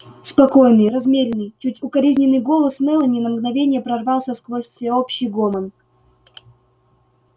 спокойный размеренный чуть укоризненный голос мелани на мгновение прорвался сквозь всеобщий гомон